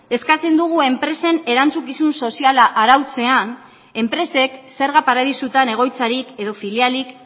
eskatzen dugu enpresen erantzukizun soziala arautzean enpresek zerga paradisutan egoitzarik edo filialik